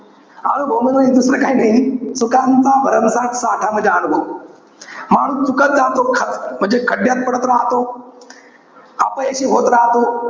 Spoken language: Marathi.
अनुभव म्हणजे दुसरं काही नाई. चुकांचा भरमसाठ साठा म्हणजे अनुभव. माणूस चुकत जातो. खच~ म्हणजे खड्ड्यात पडत राहतो. अपयशी होत राहतो.